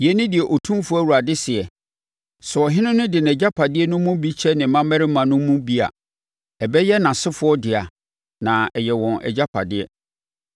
“ ‘Yei ne deɛ Otumfoɔ Awurade seɛ: Sɛ ɔhene no de nʼagyapadeɛ no mu bi kyɛ ne mmammarima no mu bi a, ɛbɛyɛ nʼasefoɔ dea na ɛyɛ wɔn agyapadeɛ.